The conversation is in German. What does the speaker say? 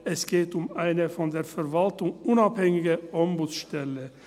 Es geht um eine von der Verwaltung unabhängige Ombudsstelle.